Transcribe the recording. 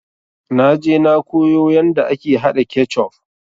Naje na koyo yanda ake haɗa kecuf